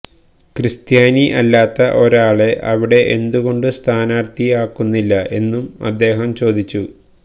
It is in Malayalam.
ക്രിസ്ത്യാനി അല്ലാത്ത ഒരാളെ അവിടെ എന്തു കൊണ്ട് സ്ഥാനാർത്ഥി ആക്കുന്നില്ല എന്നും അദ്ദേഹം ചോദിച്ചു